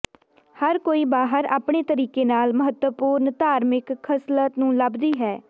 ਹਰ ਕੋਈ ਬਾਹਰ ਆਪਣੇ ਤਰੀਕੇ ਨਾਲ ਮਹੱਤਵਪੂਰਨ ਧਾਰਮਿਕ ਖਸਲਤ ਨੂੰ ਲੱਭਦੀ ਹੈ